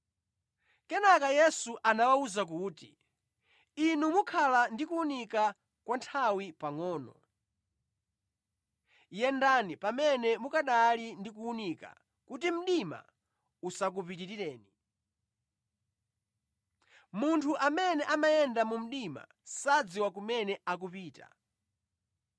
Kenaka Yesu anawawuza kuti, “Inu mukhala ndi kuwunika kwa nthawi pangʼono. Yendani pamene mukanali ndi kuwunika, kuti mdima usakupitirireni. Munthu amene amayenda mu mdima sadziwa kumene akupita.